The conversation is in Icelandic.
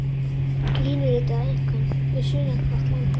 Línuritið á einkum við sunnanvert landið.